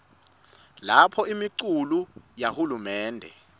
lapho imiculu yahulumende